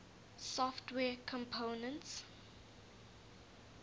software components